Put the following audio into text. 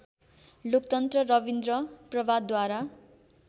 लोकतन्त्र रविन्द्र प्रभातद्वारा